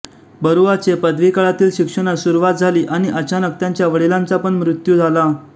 बरुआ चे पदवी काळातील शिक्षणास सुरुवात झाली आणि अचानक त्यांच्या वडिलांचा पण मृत्यू झाला